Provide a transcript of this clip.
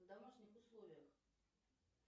в домашних условиях